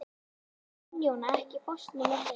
Gunnjóna, ekki fórstu með þeim?